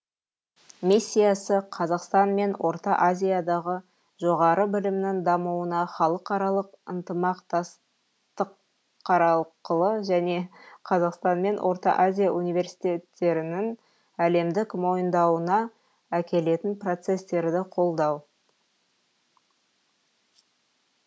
миссиясы қазақстан мен орта азиядағы жоғары білімнің дамуына халықаралық ынтымақтастықарқылы және қазақстан мен орта азия университеттерінің әлемдік мойындауына әкелетін процестерді қолдау